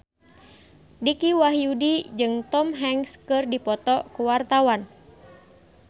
Dicky Wahyudi jeung Tom Hanks keur dipoto ku wartawan